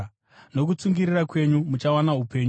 Nokutsungirira kwenyu, muchawana upenyu.